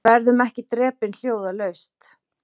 Verðum ekki drepin hljóðalaust